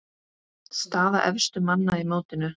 Staða efstu manna í mótinu